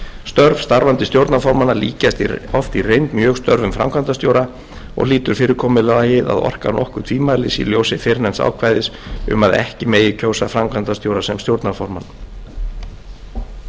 störf starfandi stjórnarformanna líkjast oft í reynd mjög störfum framkvæmdastjóra og hlýtur fyrirkomulagið að orka nokkuð tvímælis í ljósi fyrrnefnds ákvæðis um að ekki megi kjósa framkvæmdastjóra sem stjórnarformann í þeim